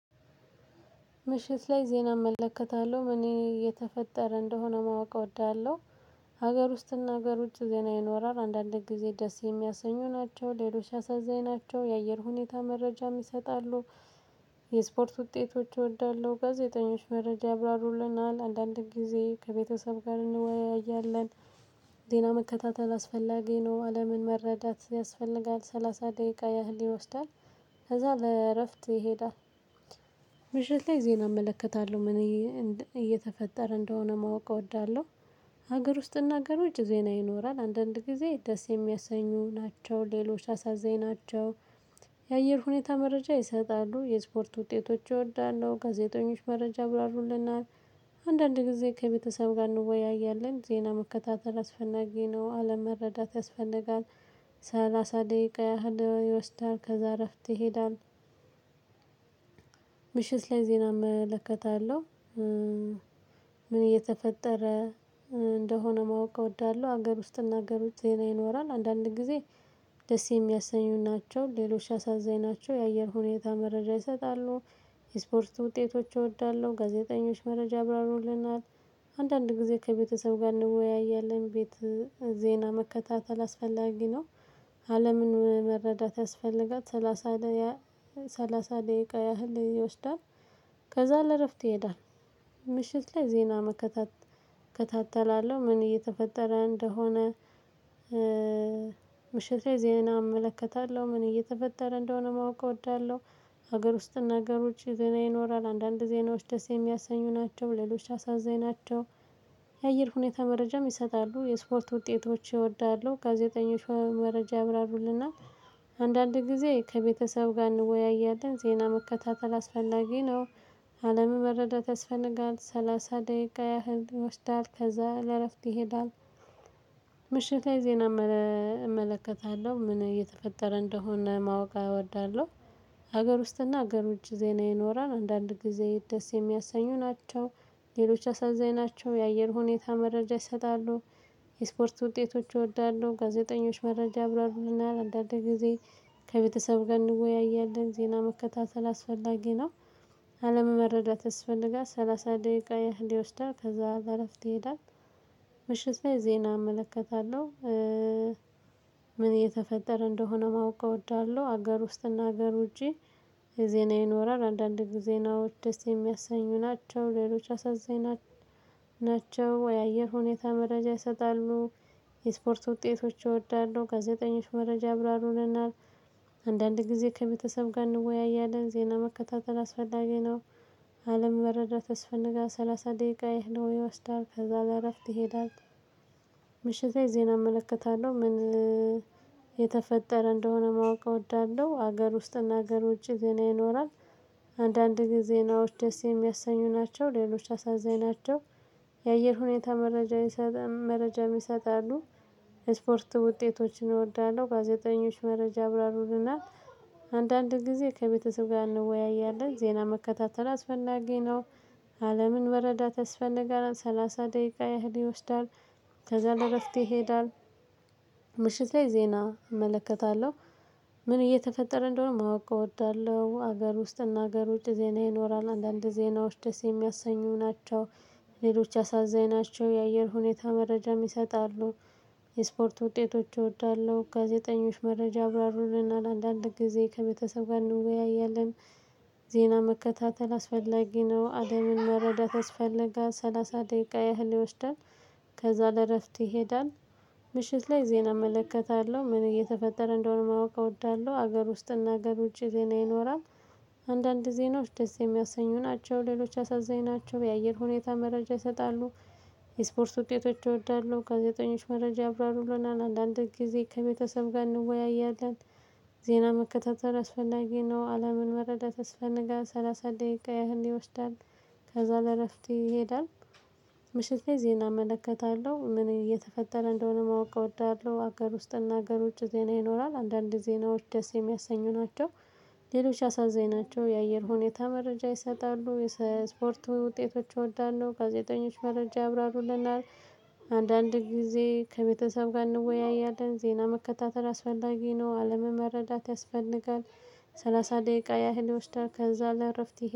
ምሽት ላይ ዜና እመለከታለሁ እኔ የተፈጠረ እንደሆነ ማወቅ እወዳለሁ። ሀገር ውስጥ እና ሀገር ውጭ ዜና ይኖራል አንዳንድ ጊዜ ደስ የሚያሰኙ ናቸው ሌሎች አሳዛኝ ናቸው የአየር ሁኔታ መረጃም ይሰጣሉ። የስፖርት ውጤቶች እወዳለሁ ጋዜጠኞች መረጃ አብራሩልናል አንዳንድም ጊዜ ከቤተሰብ ጋር እንወያያለን። ዜና መከታተል አስፈላጊ ነው አለምን መረዳት ያስፈልጋል ሰላሳ ደቂቃ ያህል ይወስዳል። ከዛ ለእረፍት ይሄዳል። ምሽት ላይ ዜና እመለከታለሁ እንደ እየተፈጠረ እንደሆነ ማወቅ እወዳለሁ። ሀገር ውስጥ እና ሃናገር ውጭ ይኖራል አንዳንድ ጊዜ ደስ የሚያሰኙ ናቸው ሌሎች አሳዛኝ ናቸው። የአየር ሁኔታ መረጃ ይሰጣሉ የስፖርት ውጤቶች እወዳለሁ ጋዜጠኞች መረጃ ብራሩልናል። አንዳንድ ጊዜ ከቤተሰብ ጋር እንወያያለን ዜና መከታተል አስፈናጊ ነው አለም መረዳት ያስፈልጋል። ሰላሳ ደቂቃ ያህል ይወስዳል ከዛ እረፍት ይሄዳል። ምሽት ላይ ዜና እመለከታለሁ። ምን እየተፈጠረ? እንደሆነ ማወቅ እወዳለሁ ሀገር ውስጥ እና ሀገር ውስጥ ዜና ይኖራል አንዳንድ ጊዜ ደስ የሚያሰኙን ናቸው ሌሎች አሳዛኝ ናቸው የአየር ሁኔታ መረጃ ይሰጣሉ። የስፖርት ውጤቶች እወዳለሁ ጋዜጠኞች መረጃ ያብራሩልናል። አንዳንድ ጊዜ ከቤተሰብ ጋር እንወያያለን ቤት ዜና መከታተል አስፈላጊ ነው። አለምን መረዳት ያስፈልጋት ሰላሳ ላይ። ሰላሳ ደቂቃ ያህል ይወስዳል። ከዛ ለእረፍት ይሄዳል። ምሽት ላይ ዜና መከታተል እከታተላለሁ ምን እየተፈጠረ እንደሆነ? ምሽት ዜና እመለከታለሁ ምን እየተፈጠረ እንደሆነ ማወቅ እወዳለሁ። ሀገር ውስጥ እና ሀገር ውጭ የዜና ይኖራል አንዳንድ ዜናዎች ደስ የሚያሰኙ ናቸው ሌሎች አሳዛኝ ናቸው። የአየር ሁኔታ መረጃም ይሰጣሉ የስፖርት ውጤቶች እወዳለሁ ጋዜጠኞች መረጃ አብራሩልናል። አንዳንድ ጊዜ ከቤተሰብ ጋር እንወያያለን ዜና መከታተል አስፈላጊ ነው። አለም መረዳት ያስፈነጋል ሰላሳ ደቂቃ ያህል ወስዳል ከዛ ለረፍት ይሄዳል። ምሽታዬ ዜና እመለከታለሁ ምን እየተፈጠረ እንደሆነ ማወቅ እወዳለሁ። ሀገር ውስጥና ገር ውጭ ዜና ይኖራል አንዳንድ ጊዜ ደስ የሚያሳኙ ናቸው። ሌሎች አሳዛኝ ናቸው የአየር ሁኔታ መረጃ ይሰጣሉ። የስፖርት ውጤቶች እወዳለሁ ጋዜጠኞች መረጃ ያብራሩልናል አንዳንድ ጊዜ። ከቤተሰብ ጋር እንወያያለን ዜና መከታተል አስፈላጊ ነው። አለምን መረዳት ያስፈልጋል ሰላሳ ደቂቃ ይህን ይወስደው ከዛ በአረፍት ይሄዳል። ምሽት በይ ዜና እመለከታለሁ። ምን የተፈጠረ እንደሆነ ማወቅ እወዳለሁ ሀገር ውስጥና ሀገር ውጪ የዜና ይኖራል አንዳንድ ጊዜ ነው ደስ የሚያሰኙ ናቸው ሌሎች አሳዛኝ። ናቸው ወይ? አየር ሁኔታ መረጃ ይሰጣሉ። የስፖርት እወዳለሁ ጋዜጠኞች መረጃ ያብራሩልናል። አንዳንድ ጊዜ ከቤተሰብ ጋር እንወያያለን ዜና መከታተል አስፈላጊ ነው። መረዳት አስስፈላጊ ነው ሰላሳ ደቂቃ ያህል ይወስዳል ከዛ በኋላ። ትሄዳለህ ምሽቴ ዜና እመለከታለሁ ምን የተፈጠረ እንደሆነ ማወቅ እወዳለሁ ሀገር ውስጥ እና ሀገር ውጪ ዜና ይኖራል። አንዳንድ ጊዜ ነው ደስ የሚያሰኙ ናቸው ሌሎች አሳዛኝ ናቸው። የአየር ሁኔታ መረጃ መረጃም ይሰጣሉ። ስፖርት ውጤቶችን እወዳለሁ ጋዜጠኞች መረጃ ያብራሩልናል። አንዳንድ ጊዜ ከቤተሰብ ጋር እንወያያለን ዜና መከታተል አስፈላጊ ነው። አለምን በረዳት ያስፈነጋለን ሰላሳ ደቂቃ ያህል ይወስዳል። ከዛ ለእረፍት ይሄዳል። ምሽት ላይ ዜና እመለከታለሁ ምን እየተፈጠረ እንደሆነ ማወቅ እወዳለሁ ሀገር ውስጥ እና ሀገር ውጭ ዜና ይኖራል አንዳንድ ዜናዎች ደስ የሚያሰኙ ናቸው። ሌሎች አሳዛኝ ናቸው የአየር ሁኔታ መረጃ ይሰጣሉ። የስፖርት ውጤቶች እወዳለሁ ጋዜጠኞች መረጃ አብራሩልና ለአንዳንድ ጊዜ ከቤተሰብ ጋር እንወያያለን። ዜና መከታተል አስፈላጊ ነው አለምን መረዳት ያስፈልጋል ሰላሳ ደቂቃ ያህል ይወስዳል። ከዛ ለእረፍት ይሄዳል። ምሽት ላይ ዜና እመለከታለሁ ምን እየተፈጠረ እንደሆነ ማወቅ እወዳለሁ ሀገር ውስጥ እና ሀገር ውጪ ዜና ይኖራል። አንዳንድ ዜናዎች ደስ የሚያሰኙ ናቸው ሌሎች አሳዛኝ ናቸው የአየር ሁኔታ መረጃ ይሰጣሉ። የስፖርት ውጤቶች እወዳለሁ ጋዜጠኞች መረጃ አብራሩሎናል አንድ ጊዜ ከቤተሰብ ጋር እንወያያለን። ዜና መከታተል አስፈላጊ ነው አለምን መረዳት ያስፈልጋል ሰላሳ ደቂቃ ያህል ይወስዳል። ከዛ ለእረፍት ይሄዳል። ምሸት ላ ዜና እመለከታለሁ ምን እየተፈጠረ እንደሆነ ማወቅ እወዳለሁ ሀገር ውስጥ እና ሀገሮች ውጭ ዜና ይኖራል አንዳንድ ጊዜ ነው ደስ የሚያሰኙ ናቸው። ሌሎች አሳዛኝ ናቸው የአየር ሁኔታ መረጃ ይሰጣሉ የስፖርት ውጤቶች እወዳለሁ ጋዜጠኞች መረጃ ያብራሩልናል። አንዳንድ ጊዜ ከቤተሰብ ጋር እንወያያለን ዜና መከታተል አስፈላጊ ነው አለምን መረዳት ያስፈልጋል። ሰላሳ ደቂቃ ያህል ይወስዳል ከዛ ለእረፍት